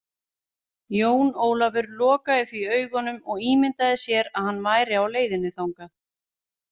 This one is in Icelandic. Jón Ólafur lokaði því augunum og ímyndaði sér að hann væri á leiðinni þangað.